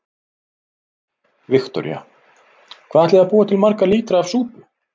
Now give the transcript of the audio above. Viktoría: Hvað ætlið þið að búa til marga lítra af súpu?